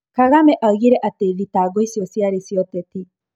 Kagame oigire atĩ thitango icio ciarĩ cia ũteti.